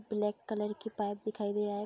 Black colour की pipe दिखाई दे रहा है।